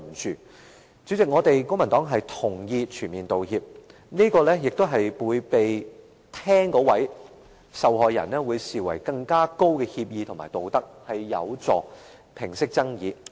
代理主席，公民黨同意"全面道歉"，會被聆聽者視為更高的協議和更合乎道德，有助平息爭議。